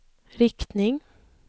riktning